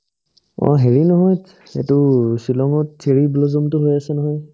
অ, হেৰি মাহত এইতো ছিলঙত cherry blossom তো হৈ আছে নহয়